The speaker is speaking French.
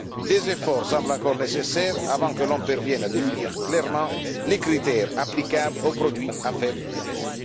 Des efforts semblent encore nécessaires avant que l'on parvienne à définir clairement les critères applicables aux produits à faible risque.